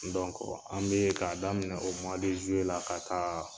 an bee k'a daminɛ o la ka taa